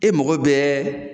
E mɔgɔ bɛɛ